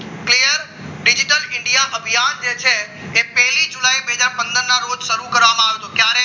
digital India અભિયાન જે છે એ પહેલી જુલાઈ બે હજાર પંદર ના રોજ શરૂ કરવામાં આવ્યો હતો ક્યાંથી